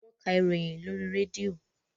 Wọ́n ka ìròyìn lóri rédíò.